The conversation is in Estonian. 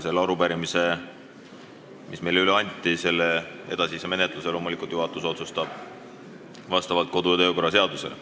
Selle arupärimise, mis meile üle anti, edasise menetluse otsustab juhatus loomulikult vastavalt kodu- ja töökorra seadusele.